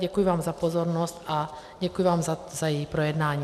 Děkuji vám za pozornost a děkuji vám za její projednání.